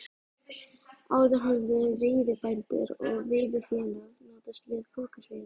Áður höfðu veiðibændur og veiðifélög notast við pokaseiði.